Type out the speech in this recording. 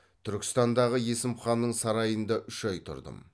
түркістандағы есім ханның сарайында үш ай тұрдым